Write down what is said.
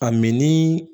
A minni